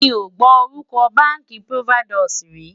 mí ọ gbó orúko bánkì providusi rí